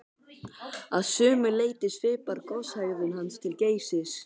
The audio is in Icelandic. Að sumu leyti svipar goshegðun hans til Geysis.